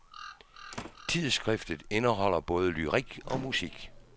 Tidsskriftet indeholder både lyrik og musik.